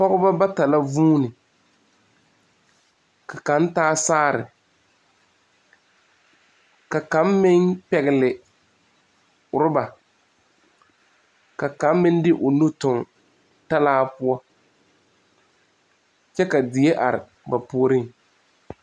Pɔgba bata la zuũni ka kang taa saare ka kang meng pɛgle ruba ka kang meng de ɔ nu tung taala poɔ kye ka deɛ arẽ ba poɔring.